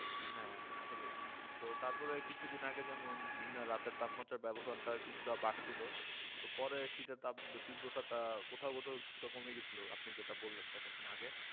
হ্যাঁ আসলে তো তারপর কিছুদিন আগে যেমন দিন ও রাতে তাপমাত্রার ব্যবধানটা কিছুটা বাড়ছিল পরে শীতের তাপ তীব্রতাটা কোথাও কোথাও কিছুটা কমে গিয়েছিল আপনি যেটা বললেন কতক্ষণ আগে